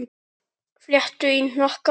Fléttur í hnakka.